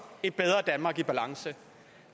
et bedre danmark i balance